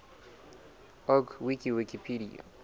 org wiki wikipedia